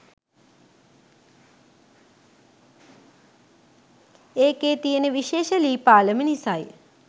ඒකෙ තියෙන විශේෂ ලී පාලම නිසයි.